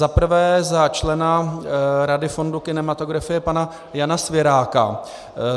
Za prvé za člena Rady fondu kinematografie pana Jana Svěráka.